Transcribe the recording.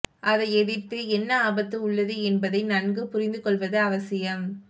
அதை எதிர்த்து என்ன ஆபத்து உள்ளது என்பதை நன்கு புரிந்து கொள்வது அவசியம்